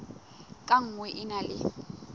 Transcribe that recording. ka nngwe e na le